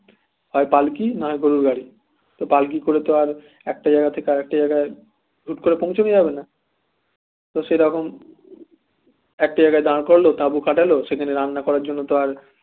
হয় পালকি না হয় গরুর গাড়ি তা পালকি করে তো আর একটা জায়গা থেকে আর একটা জায়গায় হুট করে পৌঁছানো যাবে না তো সেরকম একটা জায়গায় দার করাল তাবু খাটালো সেখানে রান্না করার জন্য তার